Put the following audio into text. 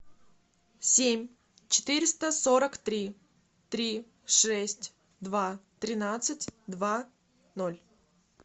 семь четыреста сорок три три шесть два тринадцать два ноль